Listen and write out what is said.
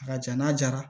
A ka jan n'a jara